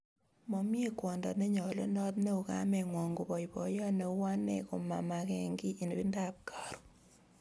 Momie kwondo nenyolunot neu kamengwong koboi boiyot neu ane komamake kiy ibindap karon